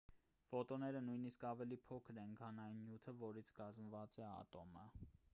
ֆոտոնները նույնիսկ ավելի փոքր են քան այն նյութը որից կազմված է ատոմը